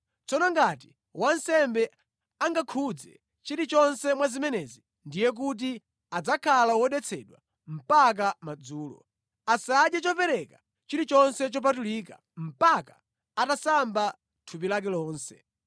Tsono ngati wansembe angakhudze chilichonse mwa zimenezi ndiye kuti adzakhala wodetsedwa mpaka madzulo. Asadye chopereka chilichonse chopatulika mpaka atasamba thupi lake lonse.